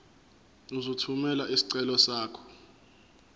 uzothumela isicelo sakho